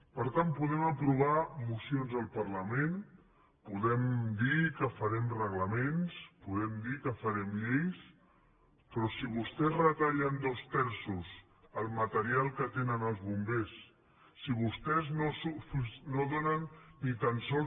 per tant podem aprovar mocions al parlament podem dir que farem reglaments podem dir que farem lleis però si vostès retallen dos terços el material que tenen els bombers si vostès no donen ni tan sols